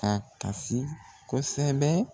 A kasi kosɛbɛ.